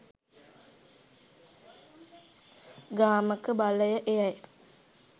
ගාමක බලය එයයි.